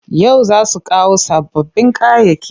Yau za su kawo sababbin kayayyaki.